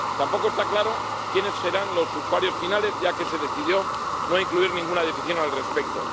Tampoco está claro quiénes serán los usuarios finales, ya que se decidió no incluir ninguna definición al respecto.